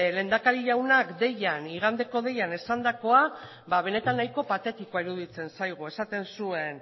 lehendakari jaunak igandeko deian esandakoan ba benetan nahiko patetikoa iruditzen zaigu esaten zuen